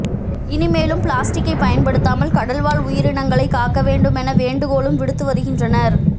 இனிமேலும் பிளாஸ்டிக்கை பயன்படுத்தாமல் கடல்வாழ் உயிரினங்களை காக்க வேண்டுமென வேண்டுகோளும் விடுத்து வருகின்றனர்